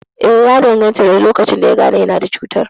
Eh, ya danganta da lokacin da yagane yana da cutar